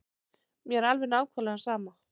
Mér er alveg nákvæmlega sama.